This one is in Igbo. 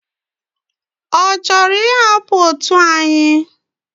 Ochoro ihapu otu anyi?